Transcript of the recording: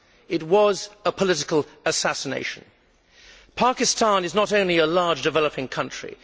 It was a political assassination. Pakistan is not only a large, developing country.